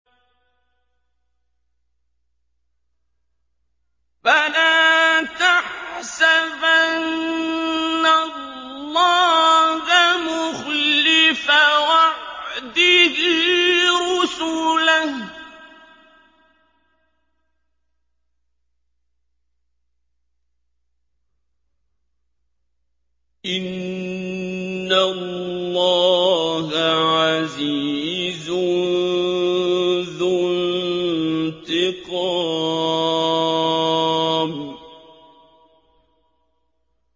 فَلَا تَحْسَبَنَّ اللَّهَ مُخْلِفَ وَعْدِهِ رُسُلَهُ ۗ إِنَّ اللَّهَ عَزِيزٌ ذُو انتِقَامٍ